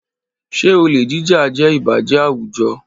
Ṣé olè jíjà jẹ́ ìbàjẹ́ àwùjọ?